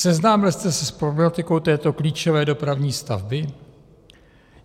Seznámil jste se s problematikou této klíčové dopravní stavby?